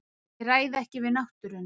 Ég ræð ekki við náttúruna.